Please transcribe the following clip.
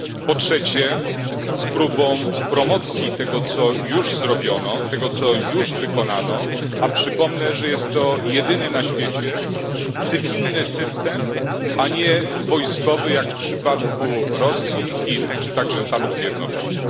Po trzecie, z próbą promocji tego, co już zrobiono, tego, co już wykonano, a przypomnę, że jest to jedyny na świecie cywilny system, a nie wojskowy, jak w przypadku Rosji, Chin, czy także Stanów Zjednoczonych.